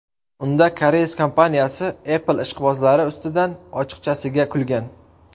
Unda koreys kompaniyasi Apple ishqibozlari ustidan ochiqchasiga kulgan.